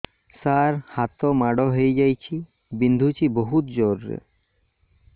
ସାର ହାତ ମାଡ଼ ହେଇଯାଇଛି ବିନ୍ଧୁଛି ବହୁତ ଜୋରରେ